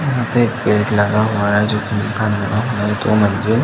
यहाँ पे एक गेट लगा हुआ हे। जो की मंजिल--